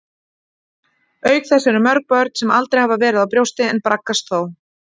Auk þess eru mörg börn sem aldrei hafa verið á brjósti, en braggast þó.